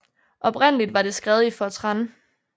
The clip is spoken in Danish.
Oprindeligt var det skrevet i fortran